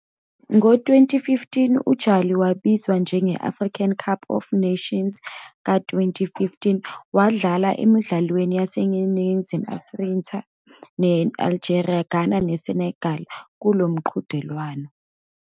Ngo-2015, uJali wabizwa njenge-African Cup of Nations ka-2015, wadlala emidlalweni yaseNingizimu Afrika ne-Algeria, Ghana neSenegal kulo mqhudelwano.